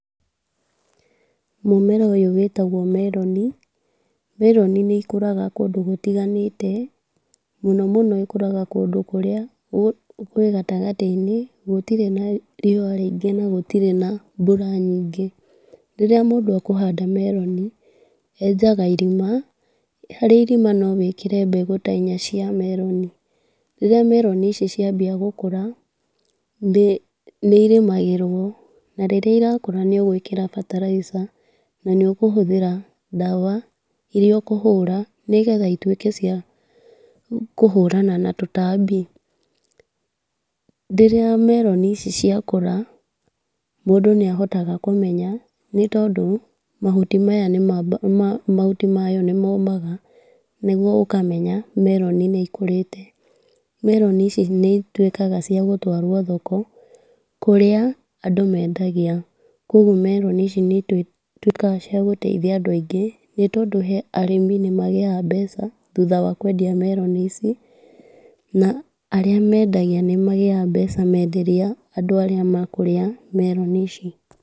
Mũmera ũyũ wĩtagwo meroni. Meroni nĩ ikũraga kũndũ gũtiganĩte. Mũno mũno ĩkũraga kũndũ kũrĩa kũrĩ gatagatĩinĩ, gũtire na riũwa rĩingĩ na gũtire mbura nyingĩ. Rĩrĩa mũndũ akuhanda meroni, enjaga irima harĩ irima no wĩkĩre mbegũ ta inya cia meroni, rĩrĩa meroni ici ciambia gũkũra nĩ irĩmagĩrwo, na rĩrĩa irakũra nĩũgũĩkĩra bataraica na nĩ ũkũhũthĩra ndawa iria ũkũhũra nĩgetha cituĩke cia kũhũrana na tũtambi. Rĩrĩa meroni ici ciakũra mũndũ nĩahotaga kũmenya nĩ tondũ mahuti mayo nĩmomaga, nĩguo ũkamenya meroni nĩ ikũrĩte. Meroni ici nĩituĩkaga cia gũtwarwo thoko kũrĩa andũ mendagia. Koguo meroni ici nĩituĩkaga cia gũteithia andũ aingĩ, nĩtondũ he arĩmi magĩyaga mbeca thutha wa kwendia meroni ici, na arĩa mendagia nĩmagĩyaga mbeca menderia andũ arĩa ma kũrĩa meroni ici.